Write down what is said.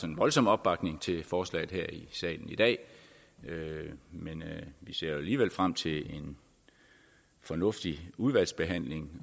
en voldsom opbakning til forslaget her i salen i dag men vi ser alligevel frem til en fornuftig udvalgsbehandling